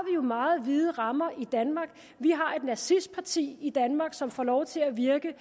jo meget vide rammer i danmark vi har et nazistparti i danmark som får lov til at virke